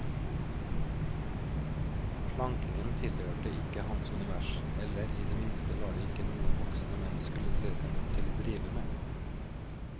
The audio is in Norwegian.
Slankingen tilhørte ikke hans univers, eller i det minste var det ikke noe voksne menn skulle se seg nødt til å drive med.